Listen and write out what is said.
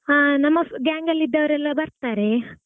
ಹಾ ನಮ್ಮgang ಅಲ್ಲಿ ಇದ್ದವರೆಲ್ಲ ಬರ್ತಾರೆ.